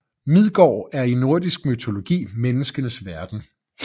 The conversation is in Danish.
Midgård er i nordisk mytologi menneskenes verden